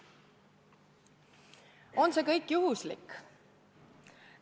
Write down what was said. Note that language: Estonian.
On see kõik juhuslik?